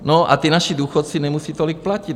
No a ti naši důchodci nemusí tolik platit.